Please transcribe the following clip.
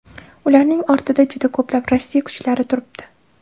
Ularning ortida juda ko‘plab Rossiya kuchlari turibdi”.